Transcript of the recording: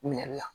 Minɛ la